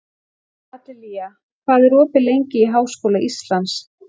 Adelía, hvað er opið lengi í Háskóla Íslands?